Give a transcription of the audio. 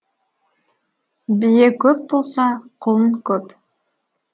бие көп болса құлын көп